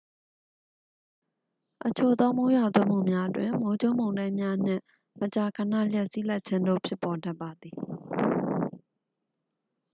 အချို့သော မိုးရွာသွန်းမှုများတွင် မိုးကြိုးမုန်တိုင်းများနှင့် မကြာခဏ လျှပ်စီးလက်ခြင်းတို့ ဖြစ်ပေါ်တတ်ပါသည်